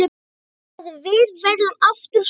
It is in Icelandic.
Að við verðum aftur saman.